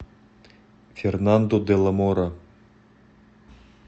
фернандо де ла мора